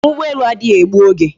Njem ugbo elu adighi egbu oge